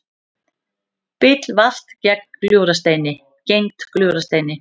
Bíll valt gegnt Gljúfrasteini